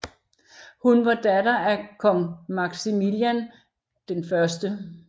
Hun var datter af af kong Maximilian 1